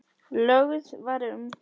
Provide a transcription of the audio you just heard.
Lögð var um